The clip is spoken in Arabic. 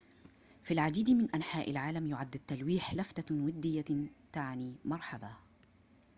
في العديد من أنحاء العالم يُعدّ التلويح لفتة ودية تعني مرحباً